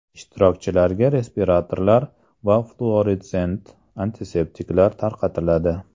Ishtirokchilarga respiratorlar va fluoressent antiseptiklar tarqatiladi.